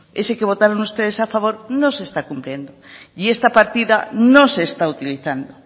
ese que votaron ustedes a favor no se está cumpliendo y esta partida no se está utilizando